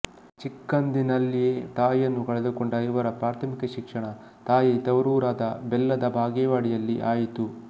ಚಿಕ್ಕಂದಿನಲ್ಲಿಯೆ ತಾಯಿಯನ್ನು ಕಳೆದುಕೊಂಡ ಇವರ ಪ್ರಾಥಮಿಕ ಶಿಕ್ಷಣ ತಾಯಿಯ ತವರೂರಾದ ಬೆಲ್ಲದ ಬಾಗೇವಾಡಿಯಲ್ಲಿ ಆಯಿತು